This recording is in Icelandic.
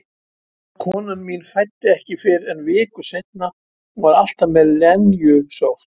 Konan mín fæddi ekki fyrr en viku seinna, hún var alltaf með lenjusótt.